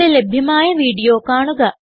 ഇവിടെ ലഭ്യമായ വീഡിയോ കാണുക